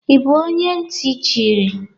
Ị bụ onye ntị chiri?